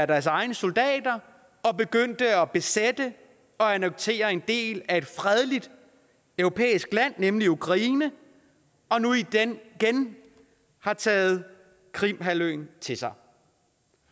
deres egne soldater og begyndte at besætte og annektere en del af et fredeligt europæisk land nemlig ukraine og nu igen har taget krimhalvøen til sig